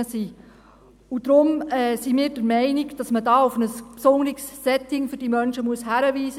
Deshalb sind wir der Meinung, dass man hier auf ein besonderes Setting für diese Menschen hinarbeiten muss.